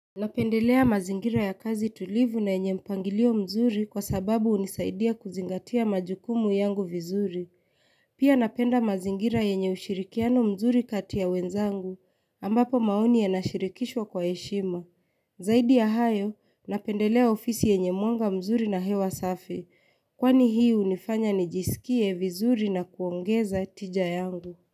Napendelea mazingira ya kazi tulivu na yenye mpangilio mzuri kwa sababu hunisaidia kuzingatia majukumu yangu vizuri. Pia napenda mazingira yenye ushirikiano mzuri katia wenzangu ambapo maoni yaashirikishwa kwa heshima. Zaidi ya hayo napendelea ofisi yenye mwanga mzuri na hewa safi kwani hii hunifanya nijiskie vizuri na kuongeza tija yangu.